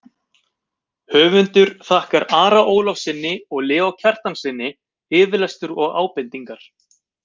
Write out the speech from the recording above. Höfundur þakkar Ara Ólafssyni og Leó Kristjánssyni yfirlestur og ábendingar.